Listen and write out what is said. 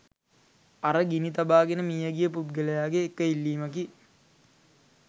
අර ගිනි තබාගෙන මියගිය පුද්ගලයාගේ එක ඉල්ලීමකි.